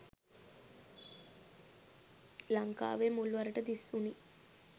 ලංකාවේ මුල්වරට දිස්වුනි